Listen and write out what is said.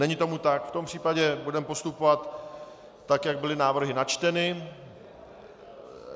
Není tomu tak, v tom případě budeme postupovat tak, jak byly návrhy načteny.